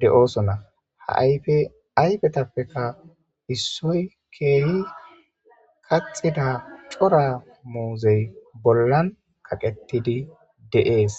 de7oosona ha ayfe ayfetappeka issoy keehi kaxida cora muuzey bollan kaqettidi de7ees.